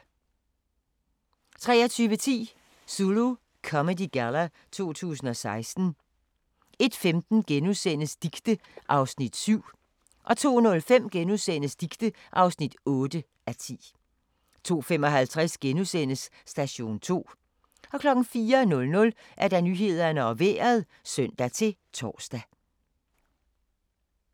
23:10: Zulu Comedy Galla 2016 01:15: Dicte (7:10)* 02:05: Dicte (8:10)* 02:55: Station 2 * 04:00: Nyhederne og Vejret (søn-tor)